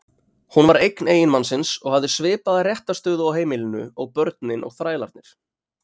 Hún var eign eiginmannsins og hafði svipaða réttarstöðu á heimilinu og börnin og þrælarnir.